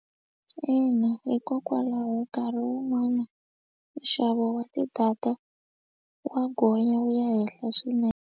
Ina hikokwalaho nkarhi wun'wani nxavo wa ti-data wa gonya wu ya henhla swinene.